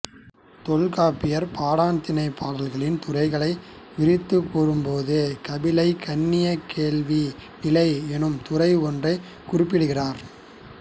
தொல்காப்பியர் பாடாண் திணைப் பாடல்களின் துறைகளை விரித்துக் கூறும்போது கபிலை கண்ணிய வேள்வி நிலை என்னும் துறை ஒன்றைக் குறிப்பிடுகிறார்